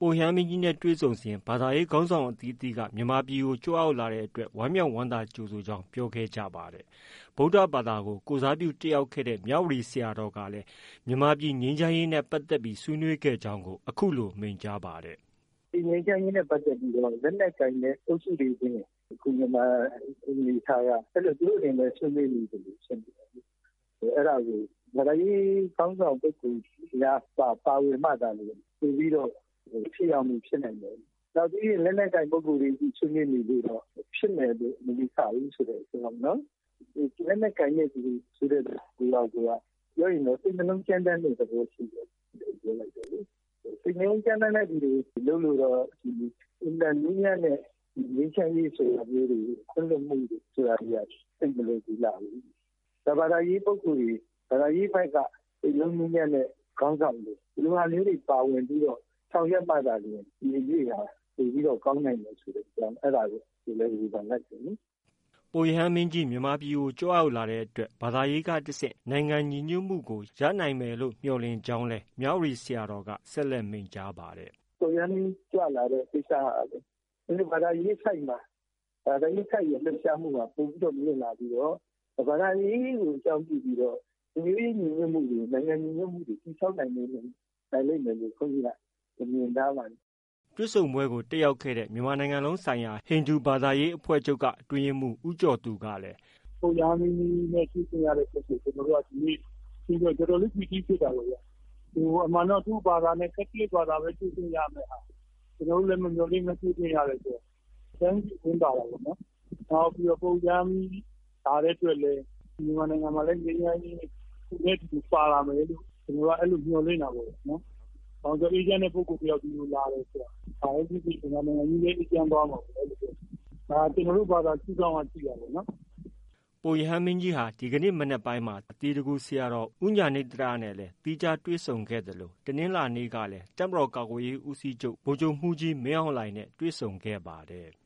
ပုပ်ရဟန်းမင်းနဲ့ တွေ့ဆုံစဉ်မှာ ဘာသာရေးခေါင်းဆောင်အသီးအသီးက မြန်မာပြည်ကို ကြွရောက်လာတဲ့အတွက် ဝမ်းမြောက်ကြိုဆိုခဲ့ကြောင်း ပြောဆိုကြပါတယ်။ ဗုဒ္ဓဘာသာကို ကိုယ်စားပြုတက်ရောက်တဲ့ မြဝတီ ဆရာတော်ကလည်း မြန်မာြ့ပည်ငြိမ်းချမ်းရေးနဲ့ပတ်သက်ပြီး ဆွေးနွေးခဲ့ကြောင်း အခုလို မိန့်ကြားပါတယ်။ “ ဒီ ငြိမ်းချမ်းရေးနဲ့ပတ်သက်ပြီး လက်နက်ကိုင်တဲ့ အုပ်စုတွေချင်း မြန်မာပြည်အနေ အထားက အဲလိုပဲ သူတို့တွေချည်း ဆွေးနွေးနေသလို ဖြစ်နေတယ်လေ။ အဲဒါကို ဘာသာရေးခေါင်းဆောင်ပုဂ္ဂိုလ်များ ပါဝင်မှသာလျှင် ပိုပြီးတော့ ထိရောက်မှုဖြစ်နိုင်မယ်။ နောက် လက်နက်ကိုင်ပုဂ္ဂိုလ်တွေချည်း ဆွေးနွေးနေလို့ တော့ ဖြစ်မယ်လို့ မယူဆဘူးဆိုတဲ့အကြောင်းနော်။ လက်နက်ကိုင်တယ်ဆိုတဲ့သဘောကိုက ပြောရင် စိတ်နှလုံးကြမ်းတမ်းတဲ့သဘောဖြစ်နေတယ်လို့ ပြောလိုက်တယ်လေ။ စိတ်နှလုံးကြမ်းတမ်းတဲ့သူတွေ လုပ်လို့ တော့ ဒီ အင်မတန်နူးညံတဲ့ ဒီငြိမ်းချမ်းရေးတို့ ခွင့်လွှတ်မှုတို့ဆိုတာတွေက သိပ်မလွယ်ကူလှဘူး။ ဒီဘာသာရေး ပုဂ္ဂိုလ် ဘာသာရေး ဖက်က စိတ်နှလုံးနူးညံတဲ့ ခေါင်းဆောင်တွေ ဒီလိုဟာမျိုးတွေ ပါဝင်ပြီးတော့ ဆောင်ရွက်မှ သာလျှင် ဒီအရေးဟာ ပိုပြီးတော့ ကောင်းနိုင်မယ်ဆိုတဲ့အကြောင်း အဲဒါကို ဝေဖန်လိုက်တယ်လေ။” ပုပ်ရဟန်းမင်းကြီးမြန်မာပြည်ကို ကြွရောက်လာတဲ့အတွက် ဘာသာရေးကတဆင့် နိုင်ငံညီညွတ်မှုကို ရနိုင်မယ်လို့ မျှော်လင့်ကြောင်းလည်း မြဝတီဆရာတော်က ဆက်လက် မိန့်ကြားပါတယ်။ “ ပုပ်ရဟန်းမင်းကြီးကြွလာတဲ့ ကိစ္စက ဘာသာရေးဆိုဒ်ရဲ့ လှုပ်ရှားမှုက ပိုပြီးမြင့်လာပြီးတော့ ဘာသာရေးကို အကြောင်းပြုပြီးတော့ လူမျိုးရေးညီညွတ်မှုတွေ နိုင်ငံညီညွတ်မှုတွေ တည်ဆောက်နိုင်လိမ့်မယ်လို့ ဘုန်းကြီးက မြင်ထားပါတယ်။” တွေ့ဆုံပွဲကို ပါဝင်တက်ရောက်ခဲ့တဲ့ မြန်မာနိုင်ငံလုံးဆိုင်ရာ ဟိန္ဒူဘာသာရေးအဖွဲ့ချုပ်က အတွင်းရေးမှုး ဦးကျော်သူကလည်း “ ပုပ်ရဟန်းမင်းကြီးနဲ့ တွေ့ခွင့်ရတဲ့အတွက် အထူးသဖြင့် ကျနော်တို့က တော်တော်လေး ပီတိဖြစ်တာပေါ့ဗျာ။ အမှန်တော့ သူ့ဘာသာနဲ့ ကက်သလစ်ဘာသာနဲ့ပဲ တွေ့ခွင့်ရရမယ့်ဟာ ။ ကျနော်တို့လည်း မမျှော်လင့်ဘဲ တွေ့ခွင့်ရတဲ့အတွက် အတိုင်းမသိ ဝမ်းသာတာပေါ့။ နောက် ပုပ်ရဟန်းမင်းကြီးလာတဲ့အတွက်လည်း မြန်မာနိုင်ငံမှာလည်း ငြိမ်းချမ်းရေး သူနဲ့ အတူပါလာမယ်လို့ ကျနော်တို့က မျှော်လင့်တာပေါ့။ ဘာလို့လဲ ဆိုတော့ အေးချမ်းတဲ့ ပုဂ္ဂိုလ်တယောက် ဒီကိုလာတယ်ဆိုတာ မြန်မာနိုင်ငံကြီးလည်း အေးချမ်းသွားမှာပေါ့၊ ဒါ ကျနော်တို့ ဘာသာရှုဒေါင့်က ကြည့်တာပေါ့နော်။ ” ပုပ်ရဟန်းမင်းကြီးဟာ ဒီကနေ့ မနက်ပိုင်းမှာ သီတဂူဆရာတော် ဦးဉာဏိသရနဲ့ သီးခြားတွေ့ဆုံခဲ့သလို တနင်္လာနေ့ကလည်း တပ်မတော်ကာကွယ်ရေးဦးစီးချုပ် ဗိုလ်ချုပ်မှုးကြီးမင်းအောင်လှိုင်နဲ့ တွေ့ဆုံခဲ့ပါတယ်။